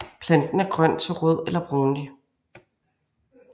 Planten er grøn til rød eller brunlig